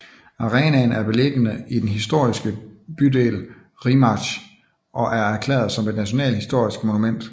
Arenaen er beliggende i den histroriske dydel Rímac og er erklæret som et nationalt historisk monument